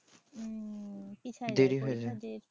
পিছায়ে দেরী হয়ে যায়।